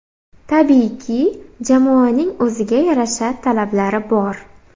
Tabiiyki, jamoaning o‘ziga yarasha talablari bor.